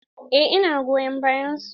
Eh ina goyon bayan su.